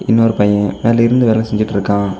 இன்னொரு பையன் மேல இருந்து வேலை செஞ்சிட்டு இருக்கான்.